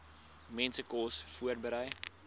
mense kos voorberei